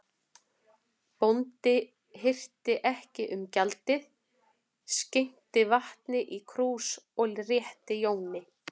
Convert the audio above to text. Bóndi hirti ekki um gjaldið, skenkti vatni í krús og rétti að Jóni.